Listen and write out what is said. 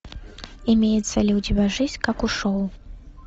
имеется ли у тебя жизнь как шоу